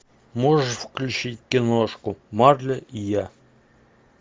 можешь включить киношку марли и я